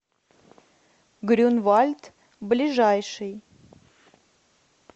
грюнвальд ближайший